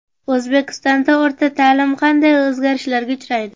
O‘zbekistonda o‘rta ta’lim qanday o‘zgarishlarga uchraydi?.